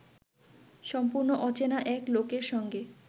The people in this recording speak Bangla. সম্পূর্ণ অচেনা এক লোকের সঙ্গে